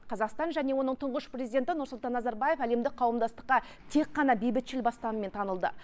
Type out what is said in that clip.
қазақстан және оның тұңғыш президенті нұрсұлтан назарбаев әлемдік қауымдастыққа тек қана бейбітшіл бастамамен танылды